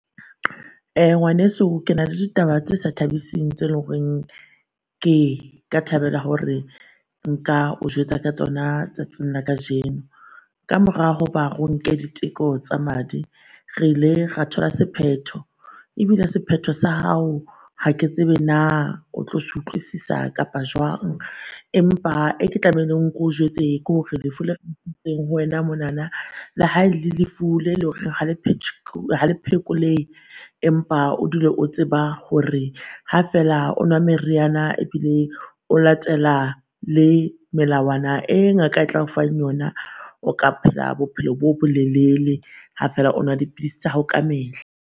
Uh ngwaneso ke na le ditaba tse sa thabising tse lo reng ke ka thabela hore nka o jwetsa ka tsona tsatsing la kajeno. Ka mora hoba ro nke diteko tsa madi, re ile ra thola sephetho. Ebile sephetho sa hao ha ke tsebe naa o tlo se utlwisisa kapa jwang? Empa e ke tlamehileng ko jwetse kore lefu le ho wena monana le ha e lefu le lore ha le phekolehe. Empa o dule o tseba hore ha feela o nwa meriana ebile o latela le melawana e ngaka e tla o fang yona, o ka phela bophelo bo bolelele ha fela o nwa dipilisi tsa hao ka mehla.